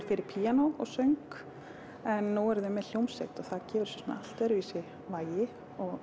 fyrir píanó og söng en nú eru þau með hljómsveit og það gefur þessu svona allt öðruvísi vægi